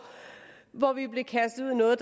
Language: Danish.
hvor vi blev kastet ud i noget